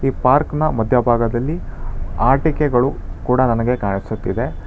Park ನ ಮಧ್ಯಭಾಗದಲ್ಲಿ ಆಟಿಕೆಗಳು ಕೂಡ ನನಗೆ ಕಾಣಿಸುತ್ತಿದೆ.